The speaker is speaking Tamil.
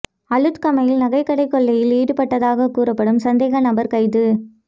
அளுத்கமையில் நகை கடை கொள்ளையில் ஈடுபட்டதாக கூறப்படும் சந்தேக நபர் கைது